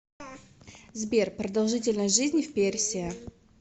сбер продолжительность жизни в персия